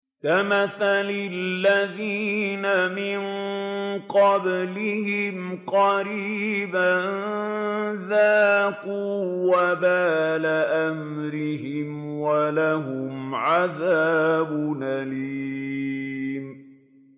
كَمَثَلِ الَّذِينَ مِن قَبْلِهِمْ قَرِيبًا ۖ ذَاقُوا وَبَالَ أَمْرِهِمْ وَلَهُمْ عَذَابٌ أَلِيمٌ